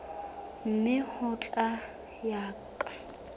mme ho tla ya ka